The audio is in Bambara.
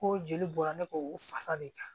Ko jeli bɔra ne kɔ u fasa de kan